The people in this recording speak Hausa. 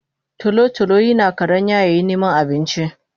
Tolo tolo yina karanya yayin niman abinci